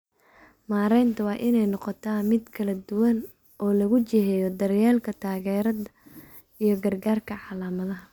Maareynta waa in ay noqotaa mid kala duwan oo lagu jiheeyo daryeelka taageerada iyo gargaarka calaamadaha.